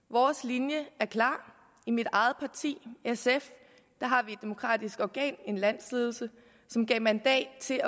vores linje er klar i mit eget parti sf har vi et demokratisk organ en landsledelse som gav mandat til